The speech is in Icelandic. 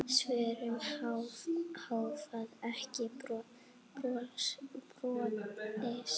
Svör hafa ekki borist.